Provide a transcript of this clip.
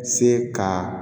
Se ka